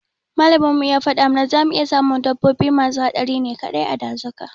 Makamin mu ya fada mata zamu iya samun dabbobi masu haɗari ne kaɗai a dazuka